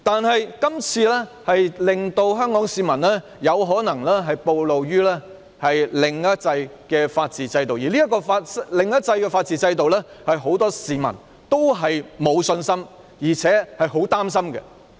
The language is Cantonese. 可是，這次修例的安排，令香港市民可能曝露於"另一制"的法治制度下，而這"另一制"的法治制度是很多市民也沒有信心和擔心的。